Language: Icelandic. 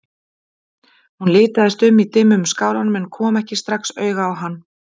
Hún litaðist um í dimmum skálanum en kom ekki strax auga á hann.